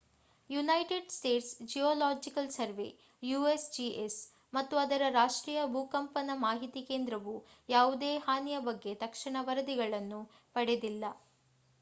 United States geological survey usgs ಮತ್ತು ಅದರ ರಾಷ್ಟ್ರೀಯ ಭೂಕಂಪನ ಮಾಹಿತಿ ಕೇಂದ್ರವು ಯಾವುದೇ ಹಾನಿಯ ಬಗ್ಗೆ ತಕ್ಷಣ ವರದಿಗಳನ್ನು ಪಡೆದಿಲ್ಲ